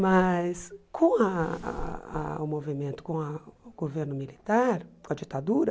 Mas com ah ah ah o movimento, com a o governo militar, com a ditadura,